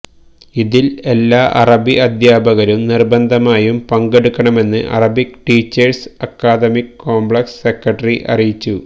ഇതില് എല്ലാ അറബി അധ്യാപകരും നിര്ബന്ധമായും പങ്കെടുക്കണമെന്ന് Arabic teachers academic complex secretary അറിയിച്ചു